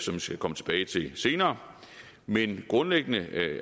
jeg skal komme tilbage til senere men grundlæggende